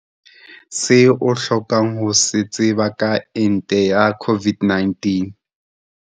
Se o hlokang ho se tseba ka ente ya COVID-19.